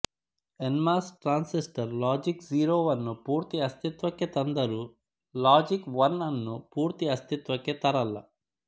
NMOS transistor ಲಾಜಿಕ್ಝೀರೋವನ್ನು ಪೂರ್ತಿ ಅಸ್ತಿತ್ವಕ್ಕೆ ತಂದರೂ ಲಾಜಿಕ್ ಒನ್ ಅನ್ನು ಪೂರ್ತಿ ಅಸಿತ್ವಕ್ಕೆ ತರಲ್ಲ